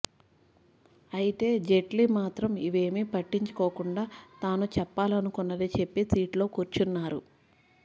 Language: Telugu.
అయితే జైట్లీ మాత్రం ఇవేమీ పట్టించుకోకుండా తాను చెప్పాలనుకున్నది చెప్పి సీట్లో కూర్చున్నారు